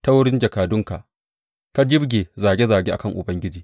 Ta wurin jakadunka ka jibge zage zage a kan Ubangiji.